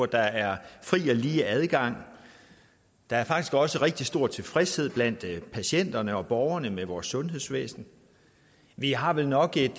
der er fri og lige adgang der er faktisk også rigtig stor tilfredshed blandt patienterne og borgerne med vores sundhedsvæsen vi har vel nok et